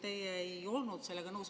Teie ei olnud sellega nõus.